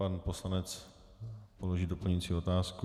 Pan poslanec položí doplňující otázku.